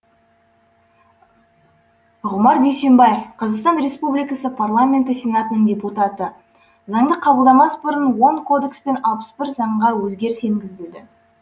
ғұмар дүйсенбаев қазақстан республикасы парламенті сенатының депутаты заңды қабылдамас бұрын он кодекс пен алпыс бір заңға өзгеріс енгізілді